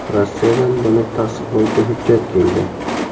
Rossiyadan buni tasdiqlovchi hujjat keldi.